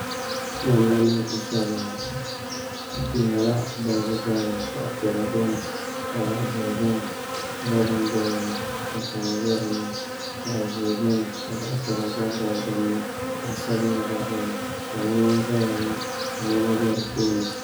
Namda nim n shɛbiya ŋɔ di nyɛla balibu balibu zaɣ piɛla biɛni ka zaɣ ʒiɛhi biɛni ka raba nim biɛni tana bɛ dinni zaɣ piɛla bɛ dinni ka zaɣ ʒiɛ gabi gabi dinni zaɣ sabinli gba biɛni kpalaŋ n ʒɛya ŋɔ ka niɛma bɛ di puuni